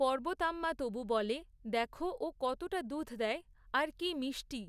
পর্বতাম্মা তবু বলে, দেখো ও কতটা দুধ দেয়, আর কী মিষ্টি!